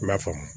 I m'a faamu